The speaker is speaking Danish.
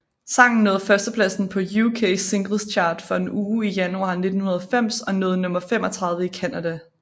Sangen nåede førstepladsen på UK Singles Chart for en uge i januar 1990 og nåede nummer 35 i Canada